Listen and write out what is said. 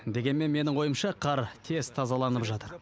дегенмен менің ойымша қар тез тазаланып жатыр